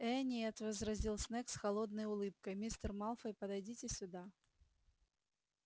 ээ нет возразил снегг с холодной улыбкой мистер малфой подойдите сюда